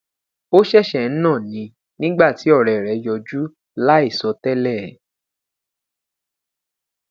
o ṣẹṣẹ n na ni nigba ti ọrẹ rẹ yọju laisọtẹlẹ